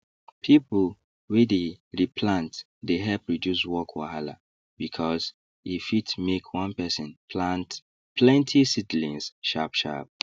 pipu wey the re plant dey help reduce work wahala because e fit make one person plant plenty seedlings sharp sharp